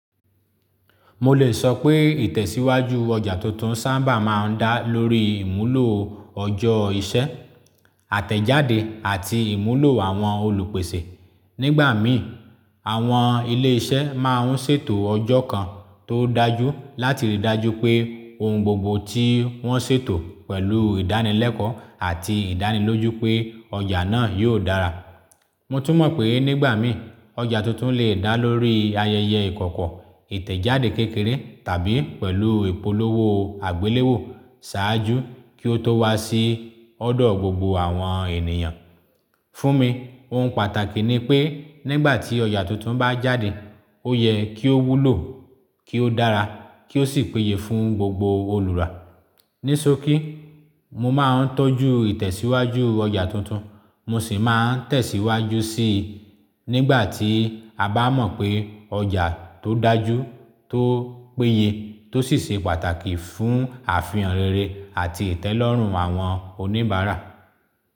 Mo lè sọ pé ìtẹ̀síwájú ọjà tuntun sábà máa ń dá lórí ìmúlò ọjọ́ ìṣe, àtẹ̀jáde àti ìmúlò àwọn olùpèsè. Nígbà mìíràn, àwọn ilé iṣẹ́ máa ń ṣètò ọjọ́ kan tó dájú láti ríi dájú pé ohun gbogbo tí wọ́n ṣètò pẹ̀lú ìdánilẹ́kọ̀ọ́ àti ìdánilójú pé ọjà náà yóò dára. Mo tún mọ̀ pé nígbà mìíràn, ọjà tuntun lè dá lórí ayẹyẹ ìkọ̀kọ̀, ìtẹ̀jáde kékeré tàbí pẹ̀lú ìpolówó àgbéléwò ṣáájú kí ó tó wá sí ọ̀dọ̀ gbogbo àwọn ènìyàn. Fún mi, ohun pàtàkì ni pé nígbà tí ọjà tuntun bá jáde, ó yẹ kí ó wúlò, kí ó dára, kí ó sì péye fún gbogbo olùrà. Ní sókí, mo máa ń tọ́jú ìtẹ̀síwájú ọjà tuntun, mo sì máa ń tẹ̀síwájú sí i nígbà tí a bá mọ̀ pé ọjà tó dájú, tó péye, tó sì ṣe pàtàkì fún àfihàn rere àti ìtẹ́lọ́rùn àwọn oníbàárà.